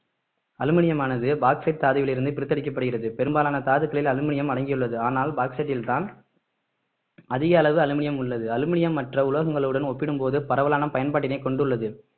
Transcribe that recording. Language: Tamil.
அலுமினியமானது பாக்ஸைட் தாதுவில் இருந்து பிரித்தெடுக்கப்படுகிறது பெரும்பாலான தாதுக்களில் அலுமினியம் அடங்கியுள்ளது ஆனால் பாக்ஸைட்டில்தான் அதிக அளவு அலுமினியம் உள்ளது அலுமினியம் மற்ற உலோகங்களுடன் ஒப்பிடும்போது பரவலான பயன்பாட்டினை கொண்டுள்ளது